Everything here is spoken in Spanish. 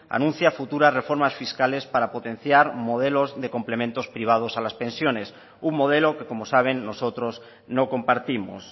anuncia futuras reformas fiscales para potenciar modelos de complementos privados a las pensiones un modelo que como saben nosotros no compartimos